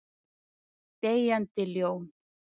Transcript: Deyjandi ljón.